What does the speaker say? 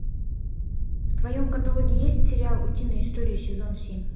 в твоем каталоге есть сериал утиные истории сезон семь